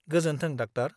गोजोनथों डाक्टार।